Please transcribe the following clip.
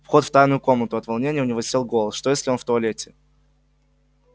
вход в тайную комнату от волнения у него сел голос что если он в туалете